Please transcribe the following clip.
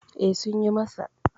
E, Sun yi masa.